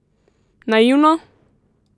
Naivno?